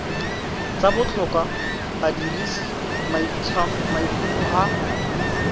tsa botlhokwa badirisi maitlhomo a